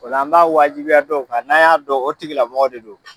O la an b'a wajibiya dɔw kan, n'a y'a dɔn o tigilamɔgɔ de don.